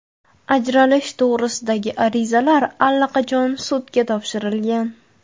Ajrashish to‘g‘risidagi arizalar allaqachon sudga topshirilgan.